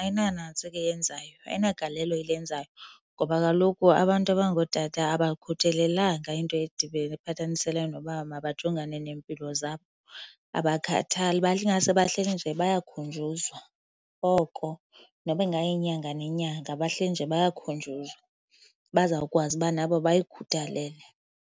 ayinanantsika iyenzayo, ayinagalelo ilenzayo. Ngoba kaloku abantu abangootata abakhuthelelanga into edibene ephathaniselene noba mabajonge neempilo zabo. Abakhathali , ingase bahleli nje bayakhunjuzwa oko, noba ingayinyanga nenyanga bahleli nje bayakhunjuzwa, bazawukwazi uba nabo bayikhuthalele.